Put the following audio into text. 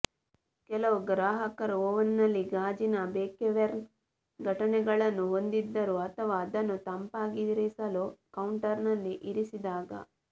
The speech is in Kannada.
ಕೆಲವು ಗ್ರಾಹಕರು ಓವನ್ನಲ್ಲಿ ಗಾಜಿನ ಬೇಕೇವೆರ್ನ ಘಟನೆಗಳನ್ನು ಹೊಂದಿದ್ದರು ಅಥವಾ ಅದನ್ನು ತಂಪಾಗಿರಿಸಲು ಕೌಂಟರ್ನಲ್ಲಿ ಇರಿಸಿದಾಗ